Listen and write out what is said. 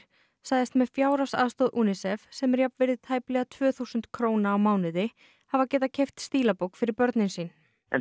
sagðist með fjárhagsaðstoð UNICEF sem er jafnvirði tæplega tvö þúsund króna á mánuði hafa getað keypt stílabók fyrir börnin sín